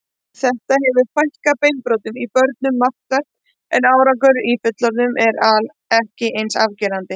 Þetta hefur fækkað beinbrotum í börnum markvert en árangur í fullorðnum er ekki eins afgerandi.